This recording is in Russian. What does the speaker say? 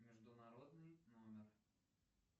международный номер